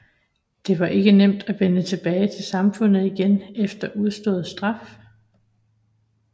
Det var ikke nemt at vende tilbage til samfundet igen efter udstået straf